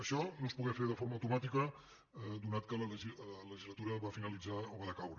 això no es pogué fer de forma automàtica ja que la legislatura va finalitzar o va decaure